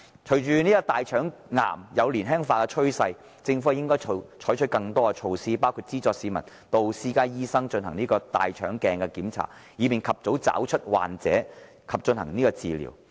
隨着大腸癌有年輕化的趨勢，政府應採取更多措施，包括資助市民進行由私家醫生提供的大腸鏡檢查，以便及早找出患者及進行治療。